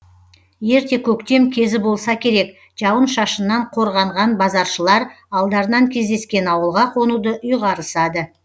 ерте көктем кезі болса керек жауын шашыннан қорғанған базаршылар алдарынан кездескен ауылға қонуды ұйғарысады